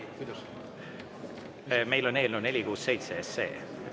Meil on eelnõu 467.